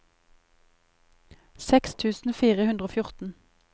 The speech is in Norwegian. seks tusen fire hundre og fjorten